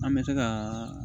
An bɛ se ka